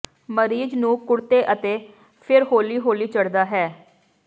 ਮਰੀਜ਼ ਨੂੰ ਕੁੜਤੇ ਅਤੇ ਫਿਰ ਹੌਲੀ ਹੌਲੀ ਚੜ੍ਹਦਾ ਹੈ